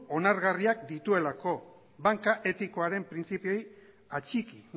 onargarriak dituelako banka etikoaren printzipioei atxiki